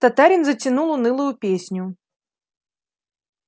татарин затянул унылую песню